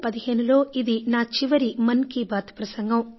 2015లో ఇది నా చివరి మన్ కీ బాత్ ప్రసంగం